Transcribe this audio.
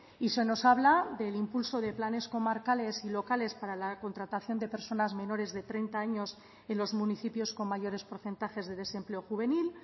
y se nos habla del impulso de planes comarcales y locales para la contratación de personas menores de treinta años en los municipios con mayores porcentajes de desempleo juvenil